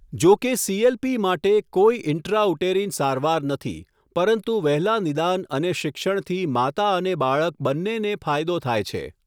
જોકે સી.એલ.પી. માટે કોઈ ઇન્ટ્રાઉટેરિન સારવાર નથી, પરંતુ વહેલા નિદાન અને શિક્ષણથી માતા અને બાળક બંનેને ફાયદો થાય છે.